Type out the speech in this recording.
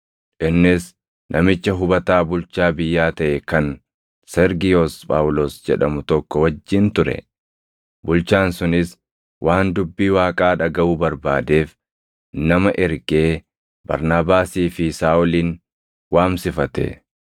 Innis namicha hubataa bulchaa biyyaa taʼe kan Sergiyoos Phaawulos jedhamu tokko wajjin ture. Bulchaan sunis waan dubbii Waaqaa dhagaʼuu barbaadeef nama ergee Barnaabaasii fi Saaʼolin waamsifate.